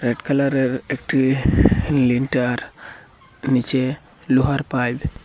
Red কালারের একটি lintel নীচে লোহার পাইপ ।